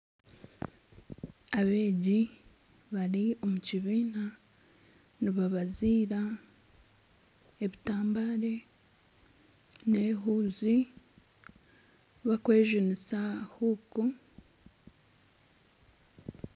Abeegi bari omu kibiina nibabaziira ebitambare nana ehuuzi barikwejunisa huuku